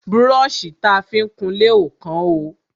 Brọ́ṣì ta fi ń kunlé ò kán o.